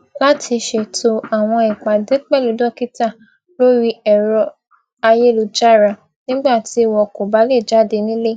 láti ṣètò àwọn ìpàdé pẹlú dókítà lórí ẹrọ ayélujára nígbà tí wọn kò bá lè jáde nílé